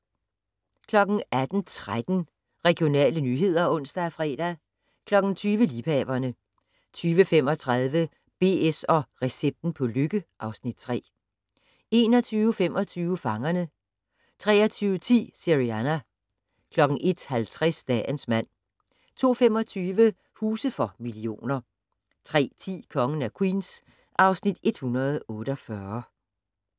18:13: Regionale nyheder (ons og fre) 20:00: Liebhaverne 20:35: BS & recepten på lykke (Afs. 3) 21:25: Fangerne 23:10: Syriana 01:50: Dagens mand 02:25: Huse for millioner 03:10: Kongen af Queens (Afs. 148)